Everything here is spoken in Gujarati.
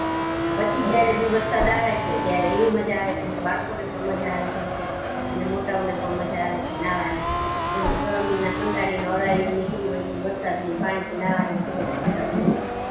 અને પછી જયારે જી વરસાદ આવે છે ત્યારે એવી મજા આવે છે અને બાળકોને પણ મજા આવી જાય છે અને મોટા ઓ ને પણ મજા આવે છે નાહવા ની કેમ કે ગરમી ના કંટાળી ન અળાયું નીકળી હોય ઈ વરસાદ ની પાણી થી નાહવા ની ખુબજ ઠંડક રેય છે